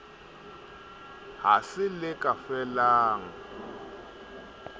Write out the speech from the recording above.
ha se le ka felang